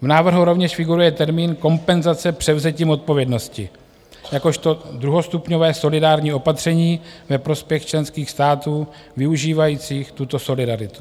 V návrhu rovněž figuruje termín kompenzace převzetím odpovědnosti jakožto druhostupňové solidární opatření ve prospěch členských států využívajících tuto solidaritu.